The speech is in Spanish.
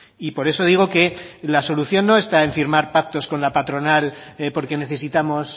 y por eso digo que la solución no está en firmar pactos con la patronal porque necesitamos